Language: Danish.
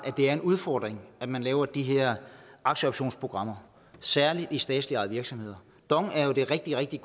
er en udfordring at man laver de her aktieoptionsprogrammer særligt i statsligt ejede virksomheder dong er jo et rigtig rigtig